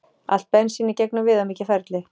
Allt bensín í gegnum viðamikið ferli